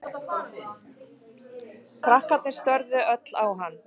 Krakkarnir störðu öll á hann.